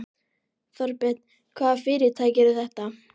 Þorbjörn: Hvaða fyrirtæki eru þetta?